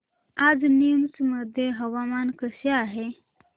आज नीमच मध्ये हवामान कसे आहे